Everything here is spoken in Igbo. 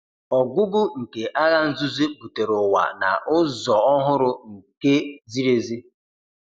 Ọgwụgwụ nke Agha Nzuzo butere ụwa na- ụzọ ọhụrụ, nke ziri ezi.